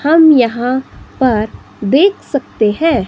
हम यहां पर देख सकते हैं।